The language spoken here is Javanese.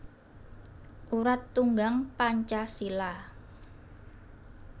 Urat Tunggang Pancasila